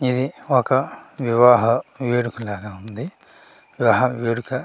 ఇది ఒక వివాహ వేడుకలాగ ఉంది వివాహ వేడుక--